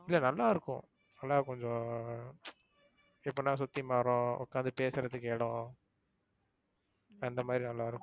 இல்ல நல்லா இருக்கும். நல்லா கொஞ்சம் எப்படினா சுத்தி மரம் உக்காந்து பேசுறதுக்கு இடம் அந்தமாதிரி நல்லா இருக்கும்.